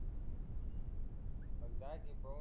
मग जा झिपवून